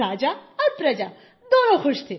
राजा और प्रजा दोनों खुश थे